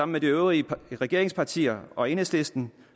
med de øvrige regeringspartier og enhedslisten